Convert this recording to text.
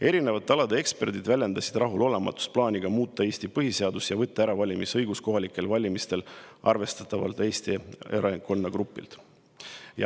Erinevate alade eksperdid väljendasid rahulolematust plaani üle muuta Eesti põhiseadust ja võtta kohalikel valimistel ära valimisõigus arvestatavalt Eesti elanikkonnagrupilt.